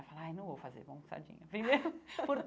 Aí eu falo, ai, não vou fazer pão com sardinha, entendeu?